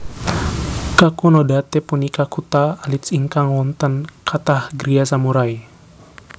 Kakunodate punika kutha alit ingkang wonten kathah griya samurai